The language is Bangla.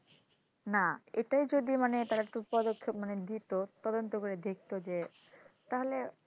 না এটাই মানে যদি মানে তারা একটু পদক্ষেপ মানে দিতো তদন্ত করে দেখতো যে তাহলে যে,